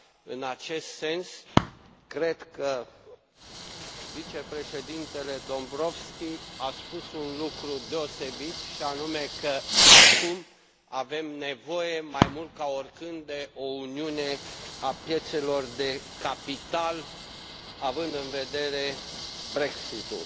În acest sens, cred că vicepreședintele Dombrovskis a spus un lucru deosebit, și anume că acum avem nevoie mai mult ca oricând de o uniune a piețelor de capital, având în vedere Brexitul.